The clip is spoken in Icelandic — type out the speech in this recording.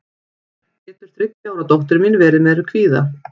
getur þriggja ára dóttir mín verið með kvíða